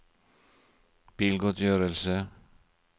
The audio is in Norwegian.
bilgodtgjørelse